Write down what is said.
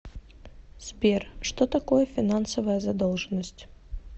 сбер что такое финансовая задолженность